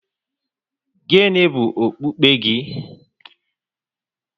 Gịnị bụ okpukpe gị?